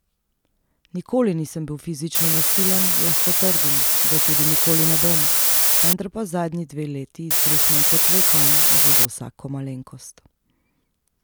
Nikoli nisem bil fizično nasilen, lahko trdim, da tudi nikoli ne bom, vendar pa zadnji dve leti izbruhnem kot vulkan že za vsako malenkost.